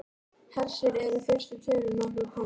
Hersir, eru fyrstu tölur nokkuð komnar?